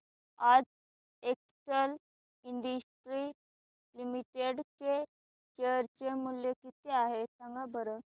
आज Excel Industries Limited चे share चे मूल्य किती आहे सांगा बरं